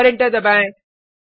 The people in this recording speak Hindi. और एंटर दबाएँ